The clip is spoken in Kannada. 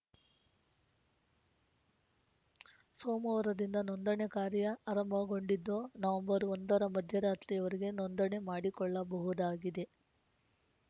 ಸೋಮವಾರದಿಂದ ನೋಂದಣೆ ಕಾರ್ಯ ಆರಂಭಗೊಂಡಿದ್ದು ನವೆಂಬರ್ ಒಂದರ ಮಧ್ಯರಾತ್ರಿಯವರೆಗೆ ನೋಂದಣೆ ಮಾಡಿಕೊಳ್ಳಬಹುದಾಗಿದೆ